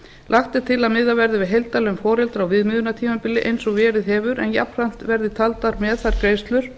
lagt er til að miðað verði við heildarlaun foreldra á viðmiðunartímabili eins og verið hefur en jafnframt verði taldar með þær greiðslur